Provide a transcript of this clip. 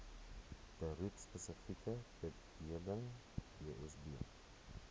beroepspesifieke bedeling bsb